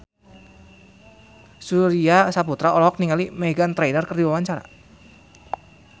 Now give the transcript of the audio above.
Surya Saputra olohok ningali Meghan Trainor keur diwawancara